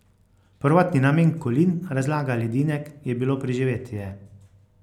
Prvotni namen kolin, razlaga Ledinek, je bilo preživetje.